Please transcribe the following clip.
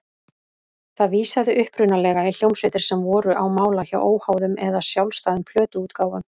Það vísaði upprunalega í hljómsveitir sem voru á mála hjá óháðum eða sjálfstæðum plötuútgáfum.